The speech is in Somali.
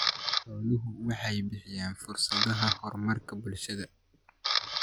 Xooluhu waxay bixiyaan fursadaha horumarka bulshada.